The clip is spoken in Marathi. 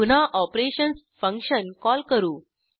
पुन्हा ऑपरेशन्स फंक्शन कॉल करू